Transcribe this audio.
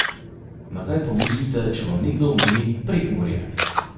Na kaj pomislite, če vam nekdo omeni Prekmurje?